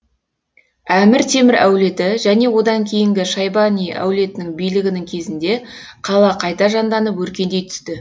әмір темір әулеті және одан кейінгі шайбани әулетінің билігінің кезінде қала қайта жанданып өркендей түсті